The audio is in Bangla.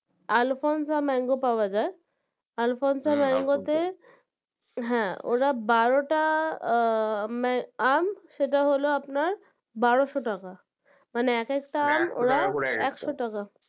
Alfonza mango পাওয়া যায় Alfonza mango তে হ্যাঁ ওরা বারোটা আহ আম সেটা হলো আপনার বারোশো টাকা মানে এক একটা আম একশো টাকা